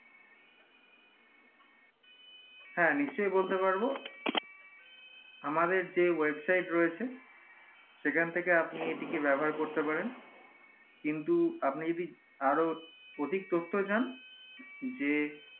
হ্যাঁ নিশ্চই বলতে পারবো আমাদের যে website রয়েছে সেখান থেকে আপনি এটিকে ব্যবহার করতে পারেন কিন্তু আপনি যদি আরো অতিক তথ্য চান যে